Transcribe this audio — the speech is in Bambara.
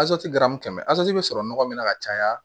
kɛmɛ zanti bɛ sɔrɔ nɔgɔ min na ka caya